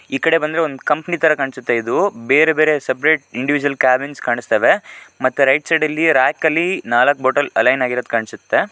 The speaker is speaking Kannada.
ಈ ಕಡೆ ಬಂದ್ರೆ ಒಂದ್ ಕಂಪನಿ ಕಾಣ್ಸುತ್ತೆ ಇದು. ಬೇರೆ ಬೇರೆ ಸಪರೇಟ್ ಇಂಡಿವಿಜಿಯಿಲ್ ಕ್ಯಾಬಿನ್ಸ್ ಕಾಣಿಸ್ತವೆ ಮತ್ತೆ ರೈಟ್ ಸೈಡ ಲ್ಲಿ ರಾಕ್ ಅಲ್ಲಿ ನಾಲಕ್ಕು ಬಾಟಲ್ ಅಲೈನ್ ಆಗಿರದ್ ಕಾಣ್ಸುತ್ತೆ.